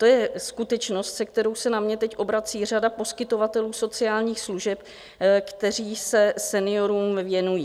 To je skutečnost, se kterou se na mě teď obrací řada poskytovatelů sociálních služeb, kteří se seniorům věnují.